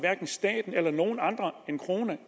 staten eller nogen andre en krone